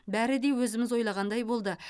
бәрі де өзіміз ойлағандай болды